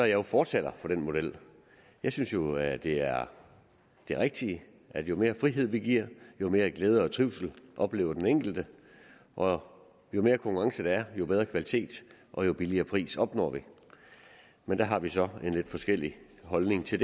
jo fortaler for den model jeg synes jo at det er det rigtige at jo mere frihed vi giver jo mere glæde og trivsel oplever den enkelte og jo mere konkurrence der er jo bedre kvalitet og jo billigere priser opnår vi men der har vi så en lidt forskellig holdning til